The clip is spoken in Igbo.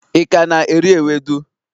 i ka na-eri ewedu?